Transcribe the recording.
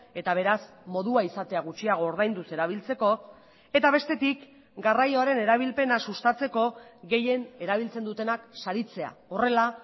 eta beraz modua izatea gutxiago ordainduz erabiltzeko eta bestetik garraioaren erabilpena sustatzeko gehien erabiltzen dutenak saritzea horrela